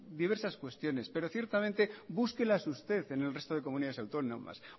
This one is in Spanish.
diversas cuestiones pero ciertamente búsquelas usted en el resto de comunidades autónomas